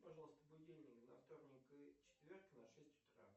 пожалуйста будильник на вторник и четверг на шесть утра